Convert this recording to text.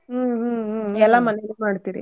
ಹ್ಮ್ ಹ್ಮ್ ಹ್ಮ್ ಎಲ್ಲಾ ಮನೇಲ್ ಮಾಡ್ತೀರಿ.